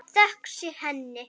Þökk sé henni.